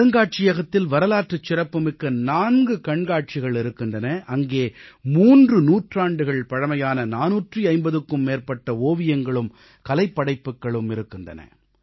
அருங்காட்சியகத்தில் வரலாற்றுச் சிறப்புமிக்க 4 கண்காட்சிகள் இருக்கின்றன அங்கே 3 நூற்றாண்டுகள் பழமையான 450க்கும் மேற்பட்ட ஓவியங்களும் கலைப் படைப்புகளும் இருக்கின்றன